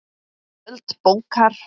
Spjöld bókar